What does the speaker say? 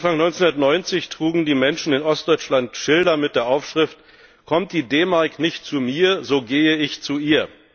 Anfang 1990 trugen die Menschen in Ostdeutschland Schilder mit der Aufschrift Kommt die D Mark nicht zu mir, so gehe ich zu ihr.